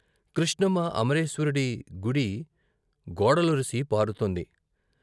కృష్ణమ్మ అమరేశ్వరుడి గుడి గోడలొరసి పారుతోంది.